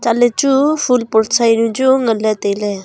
chatley chu phool pot sa yawnu chu nganley tailey.